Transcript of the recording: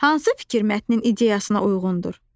Hansı fikir mətnin ideyasına uyğundur?